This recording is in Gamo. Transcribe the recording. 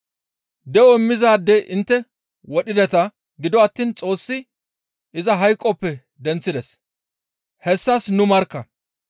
De7o immizaade intte wodhideta; gido attiin Xoossi iza hayqoppe denththides; hessas nuni markka.